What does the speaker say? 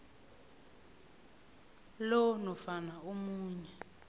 lo nofana omunye